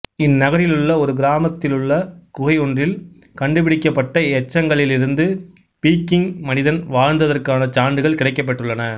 இந்நகரிலுள்ள ஒரு கிராமத்திலுள்ள குகையொன்றில் கண்டுபிடிக்கப்பட்ட எச்சங்களிலிருந்து பீக்கிங் மனிதன் வாழ்ந்ததற்கான சான்றுகள் கிடைக்கப்பெற்றுள்ளன